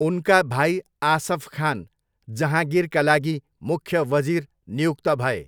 उनका भाइ आसफ खान जहाँगिरका लागि मुख्य वजिर नियुक्त भए।